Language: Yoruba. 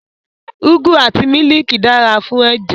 Ugwu àti mílìkì dára fún ẹ̀jẹ̀